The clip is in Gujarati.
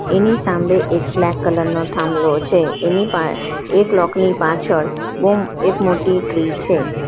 એની સામે એક બ્લેક કલર નો થાંભલો છે એની પા એ બ્લોક ની પાછળ બહુ એક મોટી ટ્રી છે.